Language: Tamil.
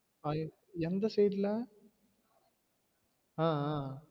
எந்த side ல ஆஹ் ஆஹ்